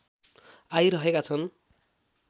आइरहेका छन्